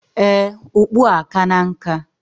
Ee, okpu a akana nka.